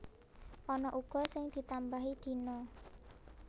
Ana uga sing ditambahi dina